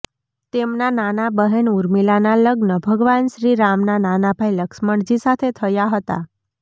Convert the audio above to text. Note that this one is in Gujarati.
તેમનાં નાનાં બહેન ઉર્મિલાનાં લગ્ન ભગવાન શ્રીરામના નાના ભાઈ લક્ષ્મણજી સાથે થયાં હતાં